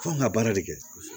F'an ka baara de kɛ